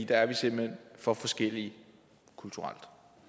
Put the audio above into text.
der er vi simpelt hen for forskellige kulturelt